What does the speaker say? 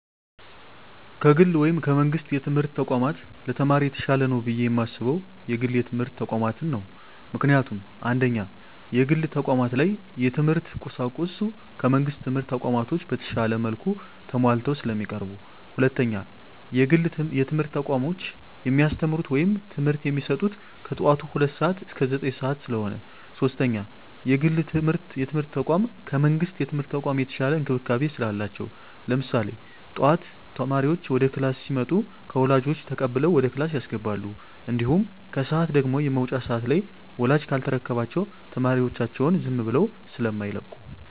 ከግል ወይም ከመንግስት የትምህርት ተቋማት ለተማሪ የተሻለ ነው ብየ የማስበው የግል የትምህርት ተቋማትን ነው። ምክንያቱም፦ 1ኛ, የግል ተቋማት ላይ የትምህርት ቁሳቁሱ ከመንግስት ትምህርት ተቋማቶች በተሻለ መልኩ ተማሟልተው ስለሚቀርቡ። 2ኛ, የግል የትምህርት ተቋሞች የሚያስተምሩት ወይም ትምህርት የሚሰጡት ከጠዋቱ ሁለት ሰዓት እስከ ዘጠኝ ሰዓት ስለሆነ። 3ኛ, የግል የትምርት ተቋም ከመንግስት የትምህርት ተቋም የተሻለ እንክብካቤ ስላላቸው። ለምሳሌ ጠዋት ተማሪዎች ወደ ክላስ ሲመጡ ከወላጆች ተቀብለው ወደ ክላስ ያስገባሉ። እንዲሁም ከሰዓት ደግሞ የመውጫ ሰዓት ላይ ወላጅ ካልተረከባቸው ተማሪዎቻቸውን ዝም ብለው ስማይለቁ።